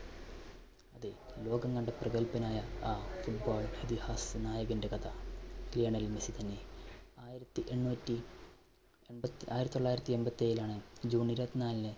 അതെ ലോകം കണ്ട പ്രഗൽഭനായ ആ football ഇതിഹാസ നായകന്റെ കഥ ലയണൽ മെസ്സി തന്നെ. ആയിരത്തി എണ്ണൂറ്റി എൺപ, ആയിരത്തി തൊള്ളായിരത്തി എൺപത്തേഴിലാണ് june ഇരുപത്നാലിന്